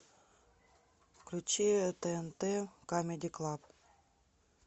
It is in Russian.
включи тнт камеди клаб